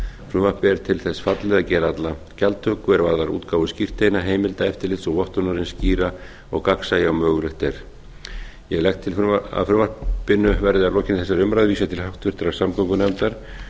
frumvarpið er til þess fallið að gera alla gjaldtöku er varðar útgáfu skírteina heimildaeftirlit og vottun eins skýra og gagnsæja og mögulegt er ég legg til að frumvarpinu verði að lokinni þessari umræðu vísað til háttvirtrar samgöngunefndar